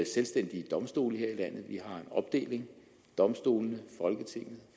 selvstændige domstole her i landet vi har en opdeling domstolene folketinget